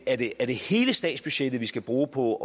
er det er det hele statsbudgettet vi skal bruge på